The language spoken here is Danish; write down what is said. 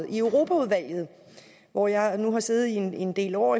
i europaudvalget hvor jeg nu efterhånden har siddet en del år